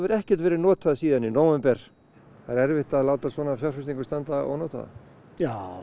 ekkert verið notað síðan í nóvember það er erfitt að láta svona fjárfestingu standa ónotaða já